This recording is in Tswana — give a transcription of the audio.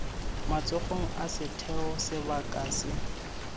matsogong a setheo sebaka se